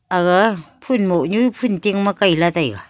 aga phun moh nu phun tin ma kai lah tai ga.